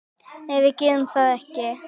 Nei, við gerðum það ekki.